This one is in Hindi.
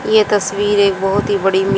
ये तस्वीर एक बहोत ही बड़ी मि--